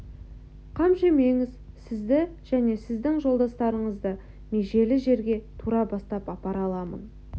қам жемеңіз сізді және сіздің жолдастарыңызды межелі жерге тура бастап апара аламын